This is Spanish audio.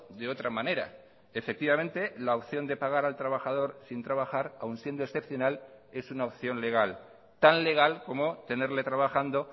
de otra manera efectivamente la opción de pagar al trabajador sin trabajar aun siendo excepcional es una opción legal tan legal como tenerle trabajando